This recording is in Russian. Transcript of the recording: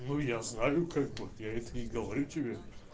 ну я знаю как бы я это и говорю тебе